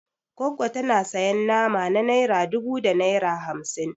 Goggo tana sayan nama na naira dubu da naira hamsin